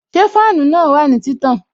Ṣé fáànù na wà ní títàn?